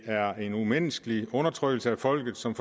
er umenneskelig undertrykkelse af folket som